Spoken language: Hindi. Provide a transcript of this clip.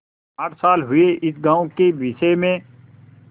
आठ साल हुए इस गॉँव के विषय में